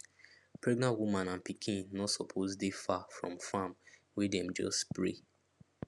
pregnant woman and pikin no suppose dey far from farm wey dem just spray